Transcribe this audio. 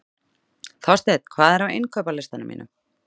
Þorsteinn, hvað er á innkaupalistanum mínum?